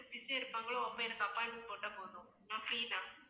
busy யா இருப்பாங்களோ அப்ப எனக்கு appointment போட்டா போதும் நான் free தான்